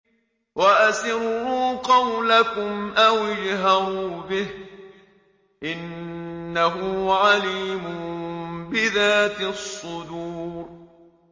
وَأَسِرُّوا قَوْلَكُمْ أَوِ اجْهَرُوا بِهِ ۖ إِنَّهُ عَلِيمٌ بِذَاتِ الصُّدُورِ